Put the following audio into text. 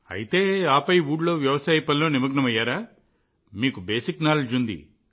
అయితే ఆపై ఊళ్ళో వ్యవసాయ పనిలో నిమగ్నమయ్యారా మీకు బేసిక్ నాలెడ్జ్ ఉంది